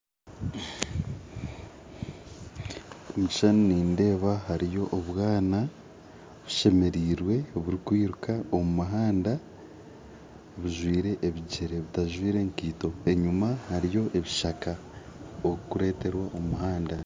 Omukishushani nindeba hariyo obwana bushemerirwe oburukwiruka omu muhanda bujwire ebigyere butajwire enkito, enyima hariyo ebishaka okureterwa omuhanda